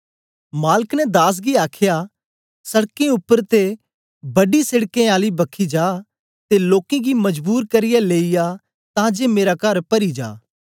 मालक ने दास गी आखया सड़कें उपर ते बड़ी सेडकें आली बखी जा ते लोकें गी मजबूर करियै लेई आ तां जे मेरा कर परी जा